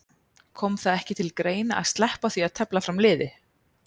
Kom það ekki til greina að sleppa því að tefla fram liði?